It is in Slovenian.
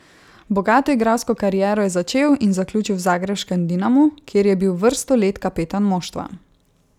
Bogato igralsko kariero je začel in zaključil v zagrebškem Dinamu, kjer je bil vrsto let kapetan moštva.